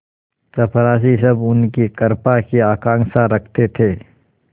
चपरासीसब उनकी कृपा की आकांक्षा रखते थे